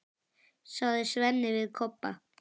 sagði Svenni við Kobba.